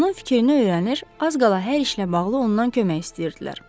Onun fikrini öyrənir, az qala hər işlə bağlı ondan kömək istəyirdilər.